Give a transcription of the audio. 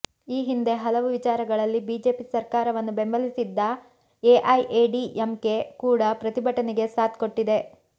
ಈ ಹಿಂದೆ ಹಲವು ವಿಚಾರಗಳಲ್ಲಿ ಬಿಜೆಪಿ ಸರ್ಕಾರವನ್ನು ಬೆಂಬಲಿಸಿದ್ದ ಎಐಎಡಿಎಂಕೆ ಕೂಡ ಪ್ರತಿಭಟನೆಗೆ ಸಾಥ್ ಕೊಟ್ಟಿದೆ